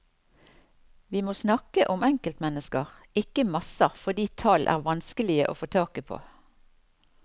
Vi må snakke om enkeltmennesker, ikke masser fordi tall er vanskelige å få taket på.